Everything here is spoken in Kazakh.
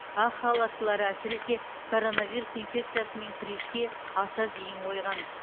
ақ халаттылар әсіресе коронавирус инфекциясымен күреске аса зейін қойған